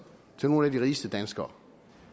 til nogle af de rigeste danskere